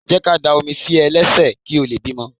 Jẹ́ ká dá omi sí ẹ lẹ́sẹ̀ kí o lè bímọ.